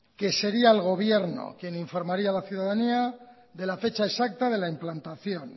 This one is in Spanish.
que sería el gobierno quien informaría a la ciudadanía de la fecha exacta de la implantación